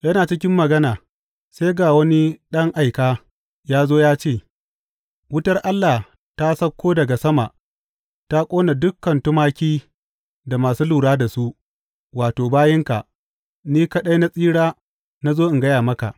Yana cikin magana sai ga wani ɗan aika ya zo ya ce, Wutar Allah ta sauko daga sama ta ƙona dukan tumaki da masu lura da su, wato, bayinka, ni kaɗai na tsira na zo in gaya maka!